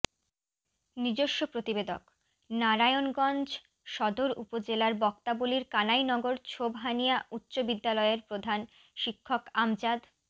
নিজস্ব প্রতিবেদকঃ নারায়নগঞ্জ সদর উপজেলার বক্তাবলির কানাইনগর ছোবহানিয়া উচ্চ বিদ্যালয়ের প্রধান শিক্ষক আমজাদ